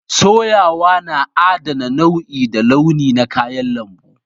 Soyawa na adana nau'i da launi na kayan lambu